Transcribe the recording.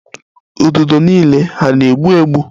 Ududo niile hà na-egbu egbu?